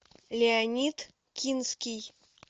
леонид кинский